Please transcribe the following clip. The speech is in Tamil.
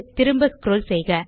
திரும்ப ஸ்க்ரோல் செய்க